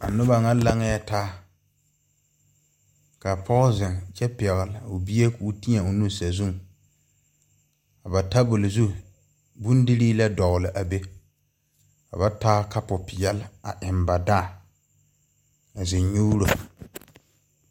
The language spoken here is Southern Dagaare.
A nuba ŋa laŋɛɛ taa ka poɔ zeŋ kyɛ pɛgle ɔ bie kʋʋ tɛɛ ɔ nu kʋo bɛ sazʋŋ ka ba tabol zu bondirii lɛ dɔgli a bɛ ka ba taa kapʋ peɛle a eŋ ba dãã a zeŋ nyʋʋro.